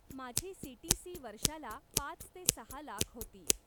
माझी सीटीसी वर्षाला पाच ते सहा लाख होती.